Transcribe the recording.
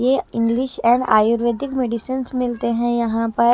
ये English and ayurvedic medicine मिलते हैं यहां पर--